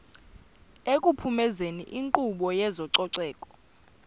ekuphumezeni inkqubo yezococeko